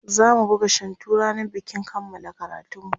zamu buga shantu rannan bikin kanmala karatunmu